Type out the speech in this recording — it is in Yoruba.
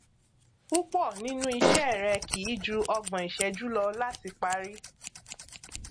púpọ nínú iṣẹ rẹ kì í ju ọgbọn ìṣẹjú lọ láti parí